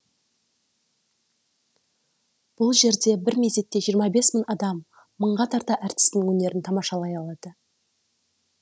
бұл жерде бір мезетте жиырма бес мың адам мыңға тарта әртістің өнерін тамашалай алады